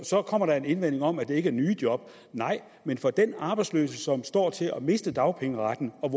så kommer der en indvending om at det ikke er nye job nej men for den arbejdsløse som står til at miste dagpengeretten og